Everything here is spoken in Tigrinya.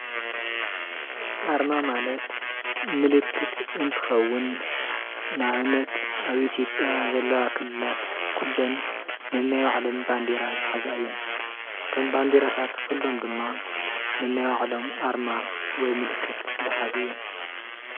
ኣርማ ማለት ምልክት እንትከውን ንኣብነት ኣብ ኢትዮጵያ ዘለዋ ክልላት ኩለን ነናይ ባዕለን ባንዴራ ዝሓዛ እየን፡፡ እቶም ባንዴራታት ኩሎም ድማ ነናይ ባዕሎም ኣርማ ወይ ምልክት ዝሓዙ እዮም፡፡